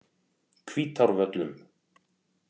Hvítárvöllum